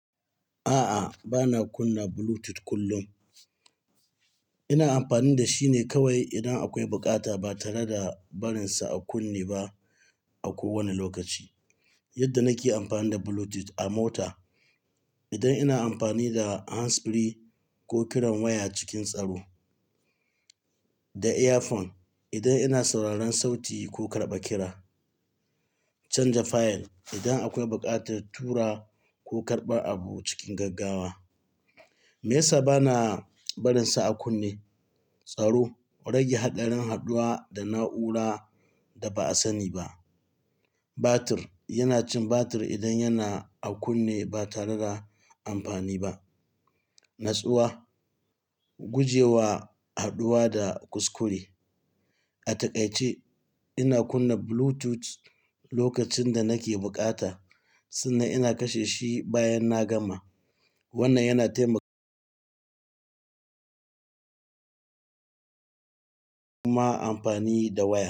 A'a, bana kunna Bluetooth kullum. Ina amfani da shi ne kawai idan akwai buƙata ba tare da barinsa a kunne ba a kowane lokaci. Yadda nake amfani da Bluetooth a mota idan ina amfani da handsfree ko kiran waya cikin tsaro, da earphone idan ina sauraron sauti ko karɓa kira, canja fayil idan akwai buƙatar tura ko karɓar abu cikin gaggawa. Me yasa bana barinsa a kunne? Tsaro, rage haɗarin haɗuwa da na'ura da ba a sani ba. Batir, yana cin batir idan yana a kunne ba tare da amfani ba. Natsuwa, guje wa haɗuwa da kuskure. A takaice, ina kunna Bluetooth lokacin da nake bukata sannan ina kashe shi bayan na gama. Wannan yana taimaka kuma amfani da wayar.